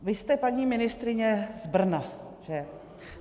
Vy jste, paní ministryně, z Brna, že?